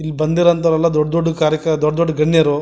ಇಲ್ ಬಂದಿರುವಂಥ ದೊಡ್ಡ ಕಾರ್ಯಾಕ್ ದೊಡ್ಡ್ದ ದೊಡ್ಡ ಗಣ್ಯರು.